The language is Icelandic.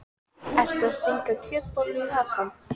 Ertu að stinga kjötbollu í vasann?